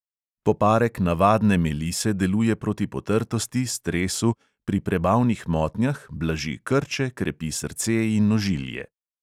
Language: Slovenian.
Poparek navadne melise deluje proti potrtosti, stresu, pri prebavnih motnjah, blaži krče, krepi srce in ožilje.